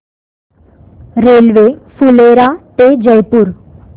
railway Phulera ते जयपूर